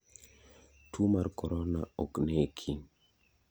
Tuo mar korona ok neki.